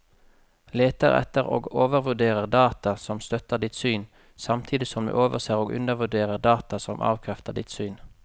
Leter etter og overvurderer data som støtter ditt syn, samtidig som du overser og undervurderer data som avkrefter ditt syn.